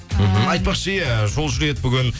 айтпақшы иә жол жүреді бүгін